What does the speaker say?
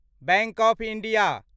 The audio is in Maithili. bank of India